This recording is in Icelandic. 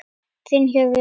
Þinn Hörður.